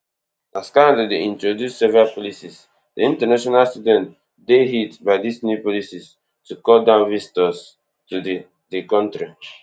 as canada dey introduce several policies di international students dey hit by dis new policies to cut down visitors to di di kontri